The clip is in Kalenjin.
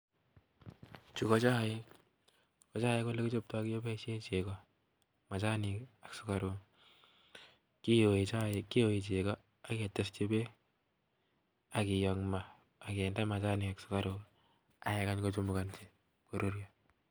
Chu ko chaik ko chaik ole kichoptoi keboisie chego, machanik ak sukaruk. Kiyoe chego ak ketesyi beek akiyo ing ma ak kinde machanik ak sukaruk ak kekany kochumukanchi koruryo.